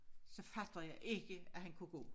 Så fatter jeg ikke at han kunne gå